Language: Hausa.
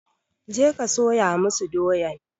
Je ka soya masu doyan!